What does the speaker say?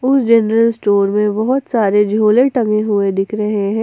उस general store में बहुत सारे झोले टंगे हुए दिख रहा है।